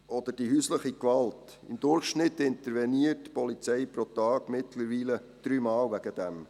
Oder die häusliche Gewalt: Im Durchschnitt interveniert die Polizei deswegen mittlerweile dreimal pro Tag.